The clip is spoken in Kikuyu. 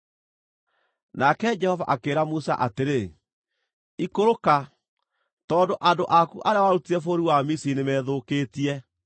Nake Jehova akĩĩra Musa atĩrĩ, “Ikũrũka, tondũ andũ aku arĩa warutire bũrũri wa Misiri nĩmethũkĩtie.